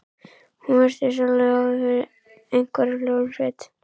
Hún virtist alveg óð yfir einhverri hljómsveit.